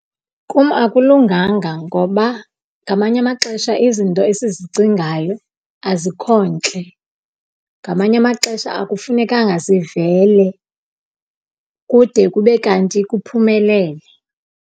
Kum akulunganga ngoba ngamanye amaxesha izinto esizicingayo azikho ntle. Ngamanye amaxesha akufunekanga sivele kude kube kanti kuphumelele.